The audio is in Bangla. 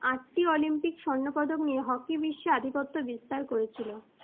আটটি olympic স্বর্ণপদক নিয়ে hockey বিশ্বে আধিপত্য বিস্তার করেছিল।